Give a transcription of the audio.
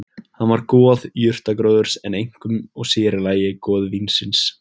Hann var goð jurtagróðurs en einkum og sér í lagi goð vínsins.